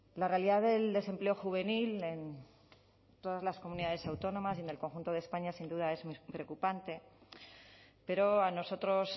la realidad del desempleo juvenil en todas las comunidades autónomas y en el conjunto de españa sin duda es muy preocupante pero a nosotros